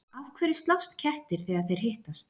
Af hverju slást kettir þegar þeir hittast?